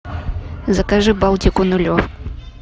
закажи балтику нулевку